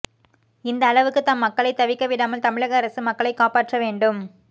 இந்த அளவுக்கு நம் மக்களை தவிக்க விடாமல் தமிழக அரசு மக்களை காப்பாற்ற வேண்டும்